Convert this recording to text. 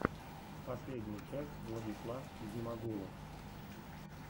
последняя часть владислав зимагулов